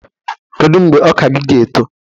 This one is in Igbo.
Kedu mgbe ọka gi ga-eto?